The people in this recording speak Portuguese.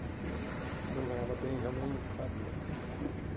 Eh eu ganhava bem realmente, sabe?